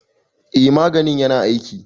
eh maganin yana aiki.